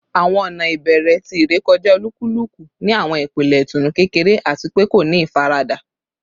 Awọn ọna ibẹrẹ ti irekọja olukuluku ni awọn ipele itunu kekere ati pe ko ni ifarada